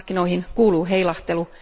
Markkinoihin kuuluu heilahtelu